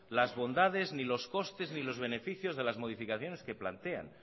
las bondades ni los costes ni los beneficios de las modificaciones que plantean